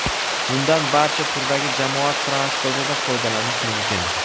Undan barcha turdagi jamoat transportida foydalanish mumkin.